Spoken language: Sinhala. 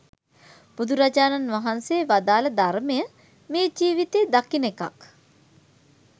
බුදුරජාණන් වහන්සේ වදාළ ධර්මය මේ ජීවිතයේ දකින එකක්.